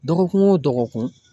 Dɔgɔkun o dɔgɔkun.